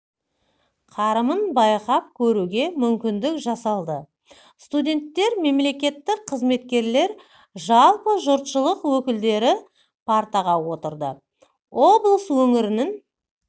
қарымын байқап көруге мүмкіндік жасалды студенттер мемлекеттік қызметкерлер жалпы жұртшылық өкілдері партаға отырды облыс өңірінің